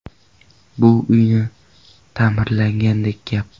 Bu uyni ta’mirlaganday gap.